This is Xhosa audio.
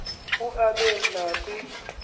u aabe nakwi